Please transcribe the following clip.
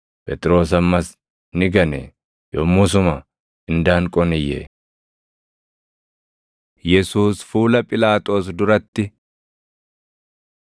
Phexros ammas ni gane; yommusuma indaanqoon iyye. Yesuus Fuula Phiilaaxoos Duratti 18:29‑40 kwf – Mat 27:11‑18,20‑23; Mar 15:2‑15; Luq 23:2,3,18‑25